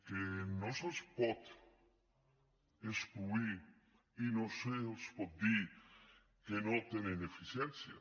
que no se’ls pot excloure i no se’ls pot dir que no tenen eficiències